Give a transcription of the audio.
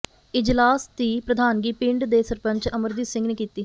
ਇਜਲਾਸ ਦੀ ਪ੍ਰਧਾਨਗੀ ਪਿੰਡ ਦੇ ਸਰਪੰਚ ਅਮਰਜੀਤ ਸਿੰਘ ਨੇ ਕੀਤੀ